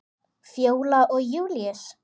Fjóla og Júlíus.